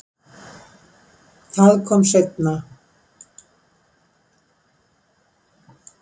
Það kom seinna